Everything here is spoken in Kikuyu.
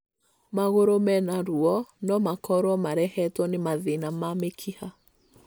Magũrũ mena ruo no makorwo marehetwo nĩ mathĩna ma mĩkiha.